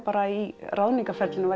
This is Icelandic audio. bara í ráðningarferlinu